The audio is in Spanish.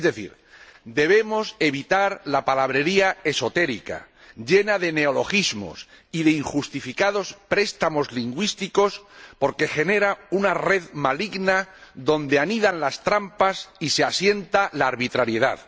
Es decir, debemos evitar la palabrería esotérica, llena de neologismos y de injustificados préstamos lingüísticos, porque genera una red maligna donde anidan las trampas y se asienta la arbitrariedad.